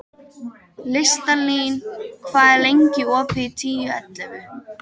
Listalín, hvað er lengi opið í Tíu ellefu?